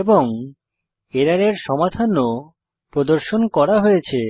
এবং এররের সমাধান ও প্রদর্শন করা হয়েছে